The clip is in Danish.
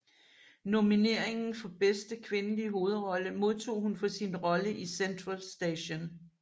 Nomineringen for bedste kvindelige hovedrolle modtog hun for sin rolle i Central Station